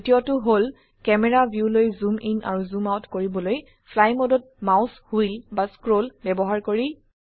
দ্বিতীয়টো হল ক্যামেৰা ভিউলৈ জুম ইন আৰু জুম আউট কৰিবলৈ ফ্লাই মোডত মাউস হুইল বা স্ক্ৰল ব্যবহাৰ কৰি